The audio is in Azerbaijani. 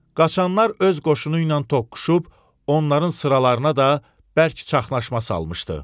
Qaçanlar öz qoşunu ilə toqquşub onların sıralarına da bərk çaşqınlıq salmışdı.